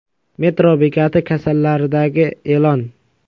Metro bekati kassalaridagi e’lon.